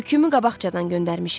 Yükümü qabaqcadan göndərmişəm.